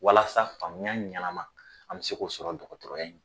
Walasa faamuya ɲɛnama an bɛ se k'o sɔrɔ dɔgɔtɔrɔya in